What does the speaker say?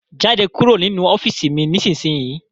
Jáde kúrò nínu ọ́fììisí mí ní isísìnyíí!